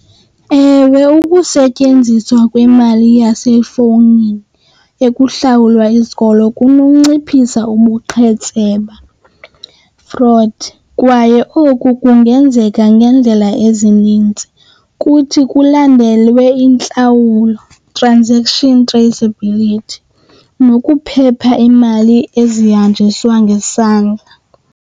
Ewe, ukusetyenziswa kwemali yasefowunini ekuhlawulwa isikolo kunonciphisa ubuqhetseba, fraud. Kwaye oku kungenzeka ngendlela ezininzi kuthi kulandelwe intlawulo, transaction traceability, nokuphepha imali ezihanjiswa ngesandla.